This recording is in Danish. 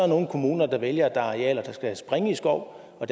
nogle kommuner der vælger at arealer der skal springe i skov og